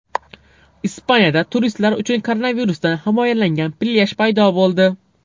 Ispaniyada turistlar uchun koronavirusdan himoyalangan plyaj paydo bo‘ldi .